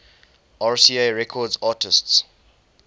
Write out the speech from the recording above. rca records artists